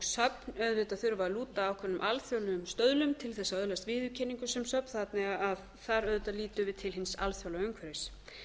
söfn þurfa auðvitað að lúta ákveðnum alþjóðlegum stöðlum til þess að öðlast viðurkenningu sem söfn þannig að þar auðvitað lítum við til hins alþjóðlega umhverfis